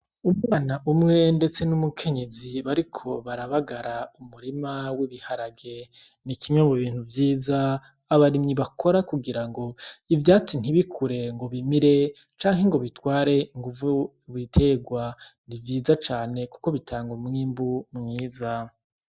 Umwana umwe ndetse n'umukenyezi bariko barabagara umurima w'ibiharage, ni kimwe mu bintu vyiza abarimyi bakora kugira ngo ivyatsi ntibikure ngo bimire canke ngo bitware inguvu ibiterwa, ni vyiza cane kuko bitanga umwimbu mwiza.